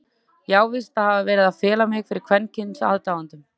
Ég á víst að hafa verið að fela mig fyrir kvenkyns aðdáendum?!